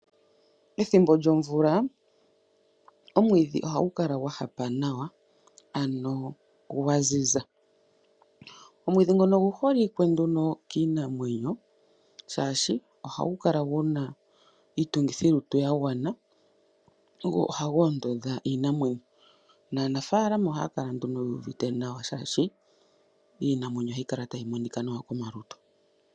Pethimbo lyomvula, omwiidhi ohagu kala gwa hapa nawa ano gwa ziza. Omwidhi ngono ogu holike nduno kiinamwenyo shaashi ohagu kala gu na iitungithilutu ya gwana gwo ohagu ondodha iinamwenyo naanafalama ohaya kala nduno yuuvite nawa shaashi iinamwenyo ohayi kala tayi monika nawa komalutu.